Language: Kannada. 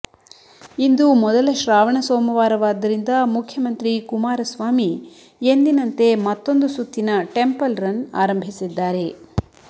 ಇಂದು ಮೊದಲ ಶ್ರಾವಣ ಸೋಮವಾರವಾದ್ದರಿಂದ ಮುಖ್ಯಮಂತ್ರಿ ಕುಮಾರಸ್ವಾಮಿ ಎಂದಿನಂತೆ ಮತ್ತೊಂದು ಸುತ್ತಿನ ಟೆಂಪಲ್ ರನ್ ಆರಂಭಿಸಿದ್ದಾರೆ